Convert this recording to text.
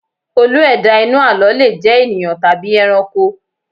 Olú - ẹ̀dá inú àlọ́ le jẹ ènìyàn tàbí ẹranko